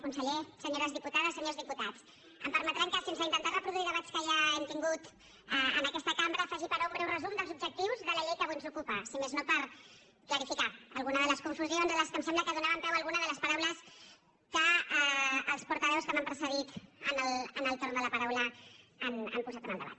conseller senyores diputades senyors diputats em permetran que sense intentar reproduir debats que ja hem tingut en aquesta cambra faci però un breu resum dels objectius de la llei que avui ens ocupa si més no per clarificar algunes de les confusions a les quals em sembla que donaven peu algunes de les paraules que els portaveus que m’han precedit en el torn de la paraula han posat en el debat